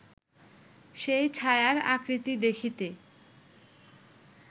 সেই ছায়ার আকৃতি দেখিতে